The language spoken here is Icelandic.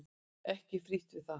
Ekki frítt við það!